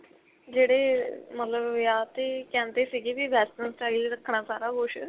ਜਿਹੜੇ ਮਤਲਬ ਵਿਆਹ ਤੇ ਕਹਿੰਦੇ ਸੀਗੇ ਵੀ western style ਰੱਖਣਾ ਸਾਰਾ ਕੁੱਝ